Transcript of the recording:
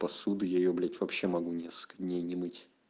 посуду я её блять вообще могу несколько дней не мыть